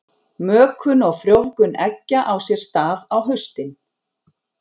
Mökun og frjóvgun eggja á sér stað á haustin.